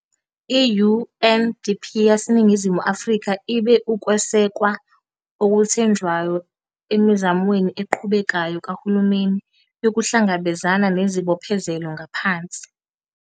Ngalolu hlelo, i-UNDP yaseNingizimu Afrika ibe ukwesekwa okuthenjwayo emizamweni eqhubekayo kahulumeni yokuhlangabezana nezibophezelo ngaphansi